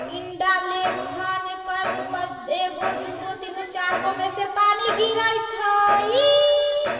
ने काई गो प-एगो दोगो तीनगो चारगो में से पानी गिराईत हैई।